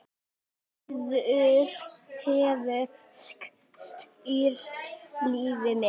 Þuríður hefur styrkt liðið mikið.